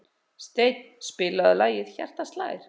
Steinn, spilaðu lagið „Hjartað slær“.